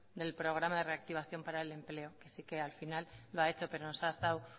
del programa de reactivación para el empleo así que al final lo ha hecho pero nos ha estado